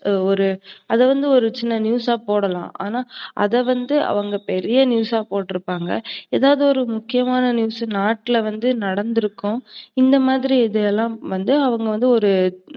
ஒரு அதுவந்து ஒரு சின்ன news ஆ போடலாம். ஆனா அதவந்து அவங்க பெரிய news ஆ போட்ருப்பாங்க. எதாவது ஒரு முக்கியமான news நாட்டுல வந்து நடந்துருக்கும். இந்தமாதிரி இது எல்லாம் வந்து ஒரு